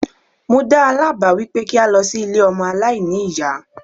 Mo dáa lá báà wípé kí a lọ sí ilé ọmọ aláìní ìyá.